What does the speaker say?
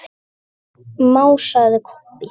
másaði Kobbi.